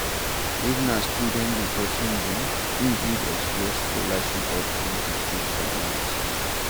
if na student di perosn be, im fit explore scholarship options to fit finance